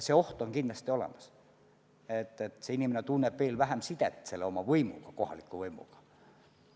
See oht on kindlasti olemas, et inimene tunneb aina vähem sidet kohaliku võimuga.